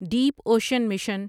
deep ocean mission